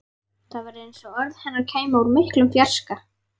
Það var eins og orð hennar kæmu úr miklum fjarska.